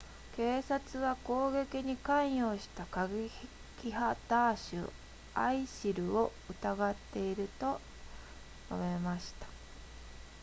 警察は攻撃に関与した過激派ダーシュ isil を疑っていると述べました